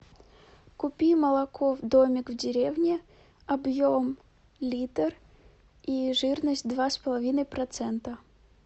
купи молоко домик в деревне объем литр и жирность два с половиной процента